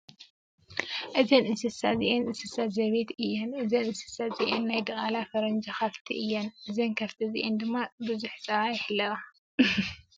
እዘን እንስስ እዚኣን እንስሳ ዜቤት እያን። እዘን እንስሳ እዚአን ናይ ድቃላ ፈረንጂ ከፍቲ እየን። እዘን ከፍቲ እዚአን ድማ ቡዙሕ ፀባ ይሕለባ።